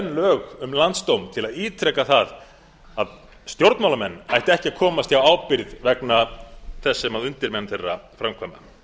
lög um landsdóm til að ítreka það að stjórnmálamenn ættu ekki að komast hjá ábyrgð vegna þess sem undirmenn þeirra framkvæma